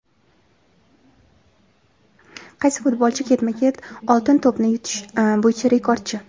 Qaysi futbolchi ketma-ket "Oltin to‘p"ni yutish bo‘yicha rekordchi?.